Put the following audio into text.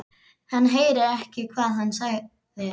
Hann heyrði ekki hvað hann sagði.